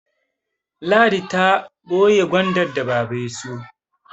Ladi ta boye Gwandar da baba ya siyo